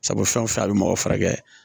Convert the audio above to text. Sabu fɛn o fɛn a bɛ mɔgɔ fari kɛ